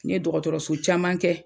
N ye dɔgɔtɔrɔso caman kɛ